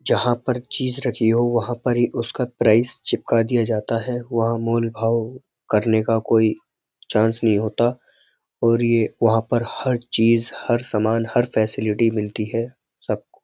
जहाँ पर चीज रखी है हो वहाँ पर ही उसका प्राइस चिपका दिया जाता है वहाँ मोल भाव करने का कोई चांस नहीं होता और यह वहाँ पर हर चीज हर सामान हर फैसिलिटी मिलती है सब --